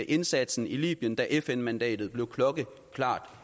indsatsen i libyen da fn mandatet blev klokkeklart